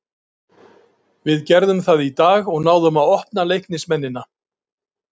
Við gerðum það í dag og náðum að opna Leiknismennina.